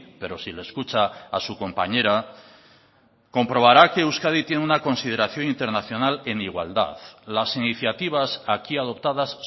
pero si le escucha a su compañera comprobará que euskadi tiene una consideración internacional en igualdad las iniciativas aquí adoptadas